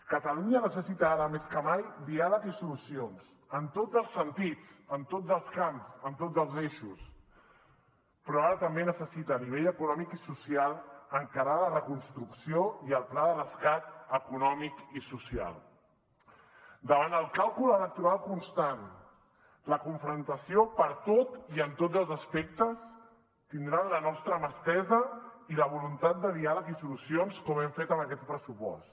catalunya necessita ara més que mai diàleg i solucions en tots els sentits en tots els camps en tots els eixos però ara també necessita a nivell econòmic i social encarar la reconstrucció i el pla de rescat econòmic i social davant el càlcul electoral constant la confrontació per tot i en tots els aspectes tindran la nostra mà estesa i la voluntat de diàleg i solucions com hem fet en aquest pressupost